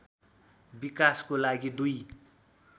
विकासको लागि २